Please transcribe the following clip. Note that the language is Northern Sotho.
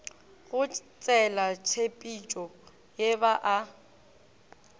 go tselatshepetšo ye ba a